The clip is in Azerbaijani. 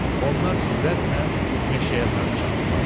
Onlar sürətlə meşəyə sarı çapdıla.